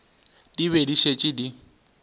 di be di šetše di